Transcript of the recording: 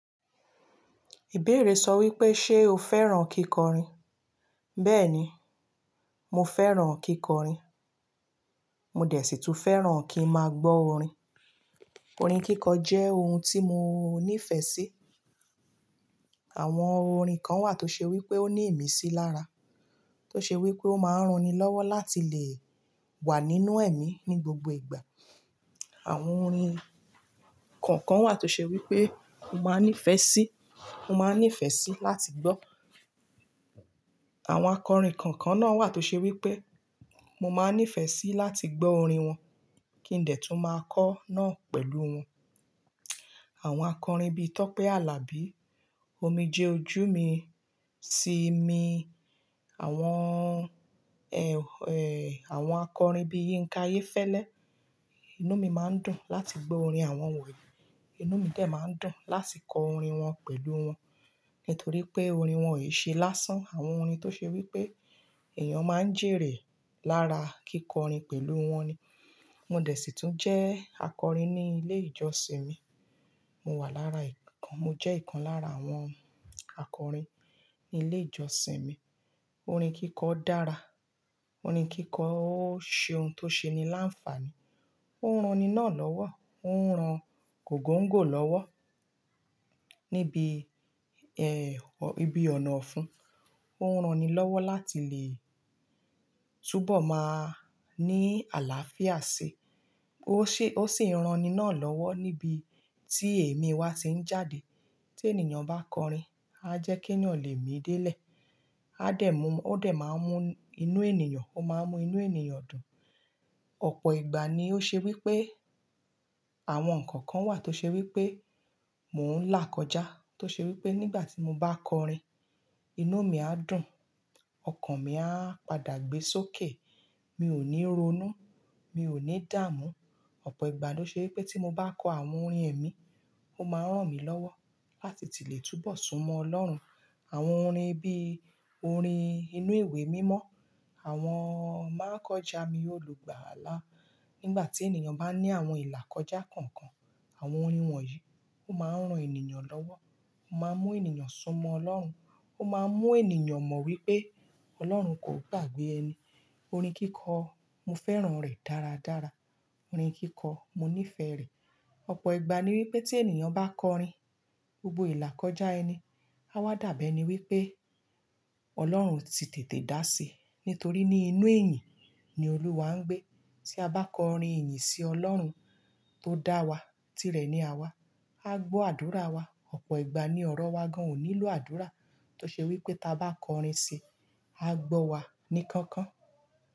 Ìbéèrè sọ wípé, ṣé o fẹ́ràn kíkọrin? Bẹ́ẹ̀ni, mo fẹ́ràn kíkọrin. Mo dẹ̀ sí tún fẹ́ràn kí n máa gbọ́ orin. Orin kíkọ jẹ́ ohun tí mo nífẹ̀ẹ́ sí. Àwọn orin kan wà tó ṣe wípé ó ní ìmísí lára, tó ṣe wípé ó máa ń ran ni lọ́wọ́ láti lè wà nínú ẹ̀mí ní gbogbo ìgbà. Àwọn orin kọ̀ọ̀kan wà tó ṣe wípé mo máa ń nífẹ̀ẹ́ sí, mo máa ń nífẹ̀ẹ́ sí láti gbọ́. Àwọn akọrin kọ̀ọ̀kan náà wà tó ṣe wípé mo máa ń nífẹ̀ẹ́ sí láti gbọ́ orin wọn kí n dẹ̀ tún máa kọ́ náà pẹ̀lú wọn. Àwọn akọrin bí Tọ́pẹ́ Alabi, Omije Ojúmi, Simi, àwọn, àwọn akọrin bí Yínká Ayéfẹ́lẹ́. Inú mi máa ń dùn láti gbọ́ orin àwọn wọ̀nyí. Inú mi dẹ̀ máa ń dùn láti kọ orin wọn pẹ̀lú wọn, nítorí pé orin wọn ò ṣe lásán. Àwọn orin tó ṣe wípé èèyàn máa ń jèrè lára kíkọrin pẹ̀lú wọn ni. Mo dẹ̀ sì tún jẹ́ akọrin ní ilé ìjọsìn mi. Mo wà lára ìkan, mo jẹ́ ìkan lára àwọn akọrin ní ilé ìjọsìn mi. Orin kíkọ dára. Orin kíkọ ó ṣe ohun tó ṣe ni láǹfààní, ó ń ran ni náà lọ́wọ́, ó ń ran gògóǹgò lọ́wọ́ níbi ibi ọ̀nà ọ̀fun. Ó ń ran ni lọ́wọ́ láti lè túbọ̀ máa ní àlàáfíà sí. Ó ṣé ó sì ń ran ni náà lọ́wọ́ níbi tí èmí wa ti ń jáde. Tí ènìyàn bá kọrin, a jẹ́ kí eeyàn lè mí dé lẹ̀. A dẹ̀ mú, ó dẹ̀ máa ń mú inú ènìyàn, ó máa ń mú inú ènìyàn dùn. Ọ̀pọ̀ ìgbà ni ó ṣe wípé àwọn ǹnkan kan wà tó ṣe wípé mò ń là kọjá. Tó ṣe wípé nígbà tí mo bá kọrin, inú mi á dùn, ọkàn mi a padà gbé sókè. Mi ò ní ronú, mi ò ní dààmú. Ọ̀pọ̀ ìgbà ló ṣe wípé tí mo bá kọ àwọn orin ẹ̀mí, ó máa ń rán mi lọ́wọ́ láti ti lè túbọ̀ súnmọ́ Ọlọ́run. Àwọn orin bí orin inú ìwé mímọ́, àwọn máa kọjá mi olùgbàlà. Nígbà tí ènìyàn bá ní àwọn ìlà kọjá kankan, àwọn orin wọ̀nyí ó máa ń ran ènìyàn lọ́wọ́, ó máa ń mú ènìyàn súnmọ́ Ọlọ́run, ó máa ń mú ènìyàn mọ̀ wípé Ọlọ́run kò gbàgbé ẹni. Orin kíkọ, mo fẹ́ràn rẹ̀ dáradára. Orin kíkọ, mo nífẹ̀ẹ́ rẹ̀. Ọ̀pọ̀ ìgbà ní wípé tí ènìyàn bá kọrin, gbogbo ìlà kọjá ẹni, a wá dàbẹ́ ni wípé Ọlọ́run ti tètè dàsí. Nítorí ní inú ẹ̀yìn ni Olúwa ń gbé. Tí a bá kọrin ìyìn sí Ọlọ́run tó dá wa, tí rẹ̀ ni à wa, a gbọ́ àdúrà wa. Ọ̀pọ̀ ìgbà ni ọ̀rọ̀ wa gan ò nílò àdúrà. Tó ṣe wípé tí a bá kọrin si, a gbọ́ wa ní kankan.